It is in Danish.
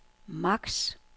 max